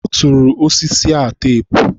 ọ tụrụ osisi a teepu.